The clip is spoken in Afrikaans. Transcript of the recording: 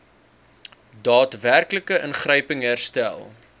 daadwerklike ingryping herstel